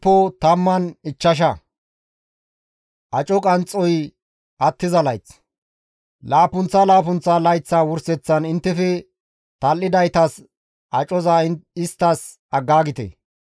Laappunththa laappunththa layththa wurseththan inttefe tal7idaytas acoza isttas aggaagite.